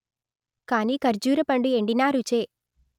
కానీ ఖర్జూరపండు ఎండినా రుచే